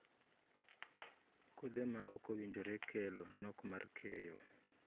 Kothe ma ok owinjore kelo nok mar keyo.